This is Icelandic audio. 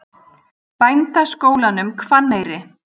Bændaskólanum Hvanneyri